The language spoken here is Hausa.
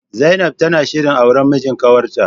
Zainab tana shirin auran mijin kawarta.